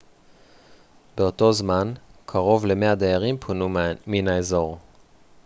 באותו זמן קרוב ל-100 דיירים פונו מן האזור